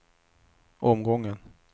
omgången